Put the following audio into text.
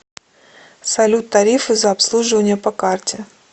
салют тарифы за обслуживание по карте